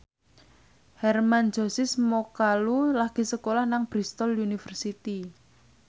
Hermann Josis Mokalu lagi sekolah nang Bristol university